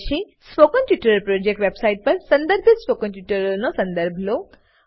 spoken tutorial website પર સંદર્ભિત spoken ટ્યુટોરીયલોનો સંદર્ભ લો